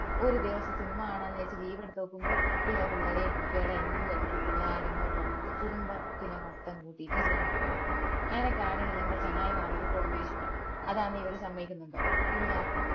ഒരു ദിവസം സിനിമ കാണാന്ന് വിചാരിച് leave എടുത്തോക്കുമ്പോ ഇള്ള പിള്ളാരേം കുട്ടിയോളേം എല്ലൊം എടുത്തിട്ട് എല്ലാരും ഇങ്ങോട്ട് വന്നിട്ട് കുടുംബത്തിന മൊത്തം കൂട്ടീട്ട് സിനിമക്ക് പോണം അനക്കാണെങ്കിൽ എന്റ ചങ്ങായിമാരൊടി പോന്നയാ ഇഷ്ടം അതാണെങ്കിൽ ഇവർ സമ്മയ്ക്കിന്നുണ്ടോ ഇല്ല